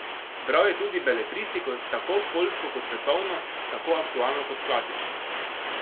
Bral je tudi beletristiko, tako poljsko kot svetovno, tako aktualno kot klasično.